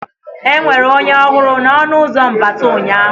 Enwere onye ọhụrụ na ọnụ ụzọ mbata ụnyaahụ?